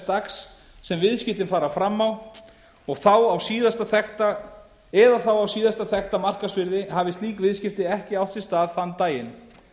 dags sem viðskiptin fara fram eða þá á síðasta þekkta markaðsvirði hafi slík viðskipti ekki átt sér stað þann daginn